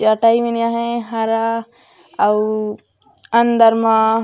चटाई मन आहे हरा अउ अंदर मा--